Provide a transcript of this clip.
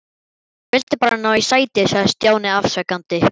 Ég vildi bara ná í sæti sagði Stjáni afsakandi.